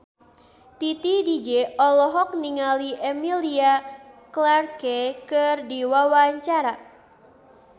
Titi DJ olohok ningali Emilia Clarke keur diwawancara